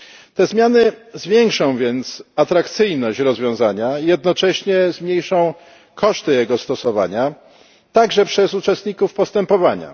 Te zmiany zwiększą więc atrakcyjność rozwiązania, jednocześnie zmniejszą koszty jego stosowania także przez uczestników postępowania.